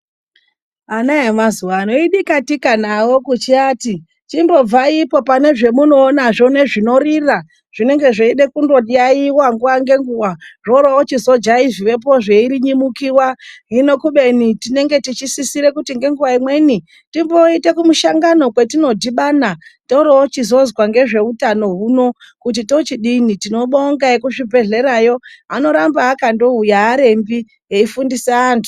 Ana emazuwa ano idika-tika navo kuchiati chimbobvaipo pane zvemunoonazvo nezvinorira. Zvinenge zveide kundoyaeyiwa nguwa-ngenguwa. Zvoroochizo jaivhiwapo zveirinyamuka. Hino kubeni tinenge tichisise kuti ngenguwa imweni timboite kumushangano kwetinodhibana toroochizozwa ngezve utano huno kuti tochidini. Tinobonga ekuzvibhedhlera, yo anoramba akandouya aarembi, eifundisa anthu.